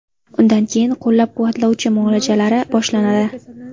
Undan keyin qo‘llab-quvvatlovchi muolajalari boshlanadi.